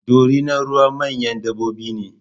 Dorinar ruwa manyan dabbobi ne